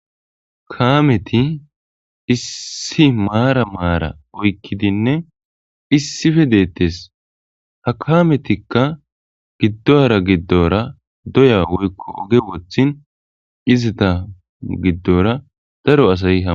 kaameti issi maara maara oykkidinne issife deettes ha kaametikka gidduwara giddora doya woykko oge wothin izita giddora daro asay hamutes